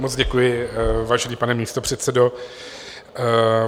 Moc děkuji, vážený pane místopředsedo.